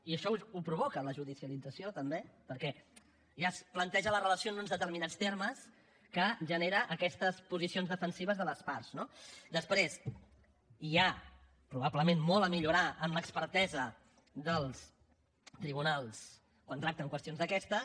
i això ho provoca la judicialització també perquè ja es planteja la relació en uns determinats termes que genera aquestes posicions defensives de les parts no després hi ha probablement molt a millorar en l’expertesa dels tribunals quan tracten qüestions d’aquestes